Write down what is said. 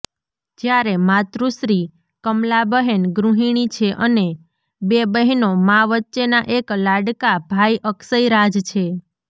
જ્યારે માતૃશ્રી કમલાબહેન ગૃહીણી છે અને બે બહેનો મા વચ્ચેના એક લાડકા ભાઈ અક્ષયરાજ છે